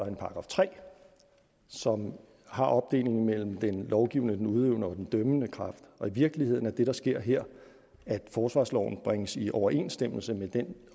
en § tre som har opdelingen mellem den lovgivende den udøvende og den dømmende kraft og i virkeligheden er det der sker her at forsvarsloven bringes i overensstemmelse med den